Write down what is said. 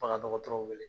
Bagan dɔgɔtɔrɔw wele